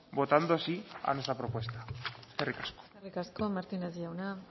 votando sí a nuestra propuesta eskerrik asko eskerrik asko martínez jauna